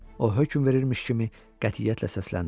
O hökm verirmiş kimi qətiyyətlə səsləndi.